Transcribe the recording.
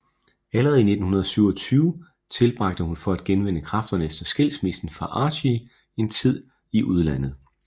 Allerede i 1927 tilbragte hun for at genvinde kræfterne efter skilsmissen fra Archie en del tid i udlandet